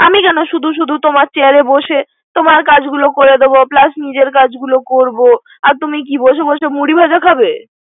আমি কেন শুধু শুধু তোমার চেহেরা বসে তোমার কাজগুলোয় করব plus নিজের কাজগুলোয় করব। আর তুমি কি বসে বসে মুড়ি ভাজা খাবে।